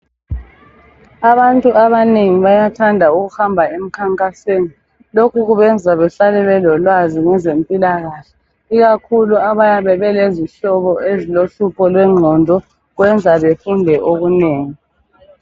Abantu abanengi bayathanda ukuhamba emkhankasweni lokhu kubenza behlale babelolwazi ngezempilakahle ikakhulu abayabe belezihlobo ezilohlupho lwe ngqondo kwenza befunde okunengi.